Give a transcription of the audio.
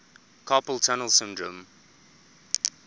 carpal tunnel syndrome